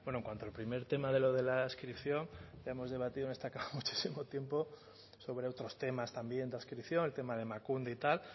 bueno en cuanto al primer tema de lo de la adscripción ya hemos debatido en esta cámara muchísimo tiempo sobre otros temas también de adscripción el tema de emakunde y tal